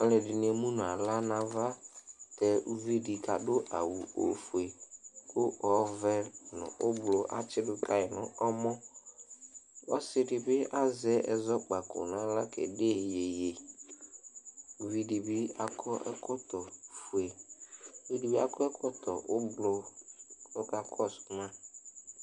Alʋɛdɩnɩ emu nʋ aɣla nʋ ava tɛ uvi dɩ kʋ adʋ awʋ ofue kʋ ɔvɛ nʋ ɔblɔ atsɩdʋ ka yɩ nʋ ɔmɔ Ɔsɩ dɩ bɩ azɛ ɛzɔkpako nʋ aɣla kede iyeye Uvi dɩ bɩ akɔ ɛkɔtɔfue kʋ ɛdɩ bɩ akɔ ɛkɔtɔ ʋblʋ kʋ ɔkakɔsʋ ma